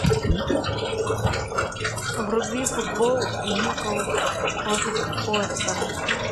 вруби футбол ньюклс против лестера